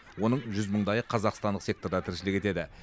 оның жүз мыңдайы қазақстандық секторда тіршілік етеді